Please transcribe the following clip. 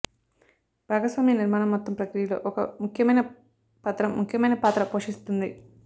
భాగస్వామ్య నిర్మాణం మొత్తం ప్రక్రియలో ఒక ముఖ్యమైన పత్రం ముఖ్యమైన పాత్ర పోషిస్తుంది